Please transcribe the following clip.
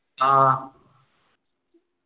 ആഹ്